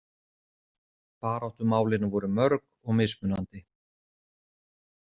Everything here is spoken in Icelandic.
Baráttumálin voru mörg og mismunandi.